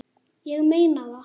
Ég meina það!